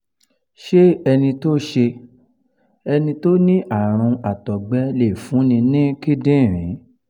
ṣé ẹni tó ṣé ẹni tó ní àrùn àtọ̀gbẹ lè fúnni ní kindinrin?